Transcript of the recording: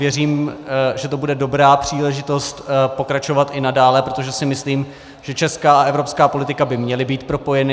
Věřím, že to bude dobrá příležitost pokračovat i nadále, protože si myslím, že česká a evropská politika by měly být propojeny.